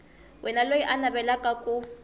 wana loyi a navelaka ku